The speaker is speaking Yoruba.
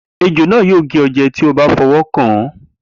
Ejò náà yóò gé ọ jẹ tí o bá fọwọ́ kàn án.